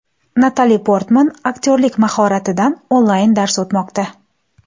Natali Portman aktyorlik mahoratidan onlayn-dars o‘tmoqda .